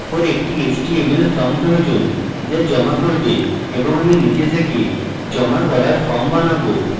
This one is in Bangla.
এরপর একটি html form প্রয়োজন যা জমা করবে এবং আমি নিজে থেকে জমা করার form বানাবো